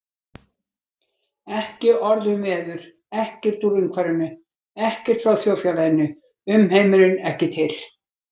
Ekki orð um veður, ekkert úr umhverfinu, ekkert frá þjóðfélaginu, umheimurinn ekki til.